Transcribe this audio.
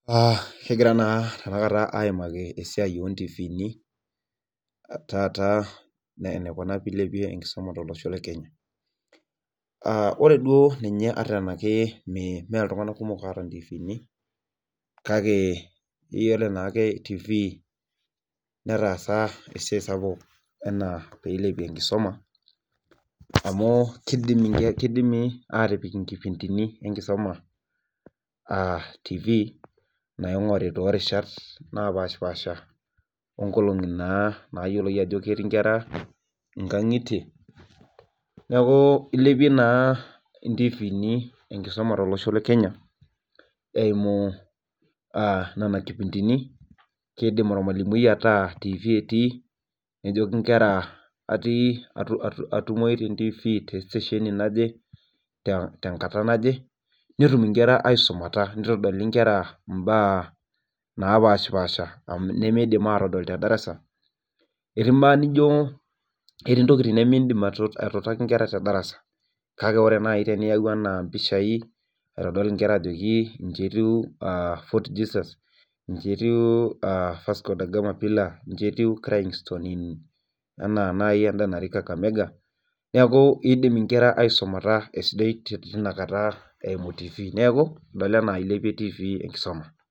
kigiran tenakata aimaki esiai oo tata enikuna pee ilepie enkisuma tolosho lekenya ore duo ninye ata tenaa ime itunganak kumok ta intifiini, kake iyiolo tifii netasa esiai sapuk pee ilepie enkisuma amu kidimi atik inkipntini enkisuma, naigori inkolongi nayioloi ajo ketiii inkera netum inkera aisumata nitoli inkera ibaa napashi paasha kake ore pee iyau empisah nijoki iji etiu fort jesus neeku idim inkera aisumata eimu tifiii.